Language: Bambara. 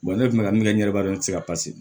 ne kun bɛ ka min kɛ ɲɛbaa don ne tɛ se ka